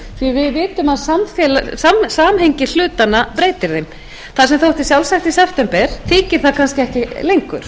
við vitum að samhengi hlutanna breytir þeim það sem þótti sjálfsagt í september þykir það kannski ekki lengur